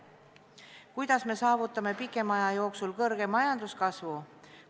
Kuidas me saavutame pikema aja jooksul suure majanduskasvu?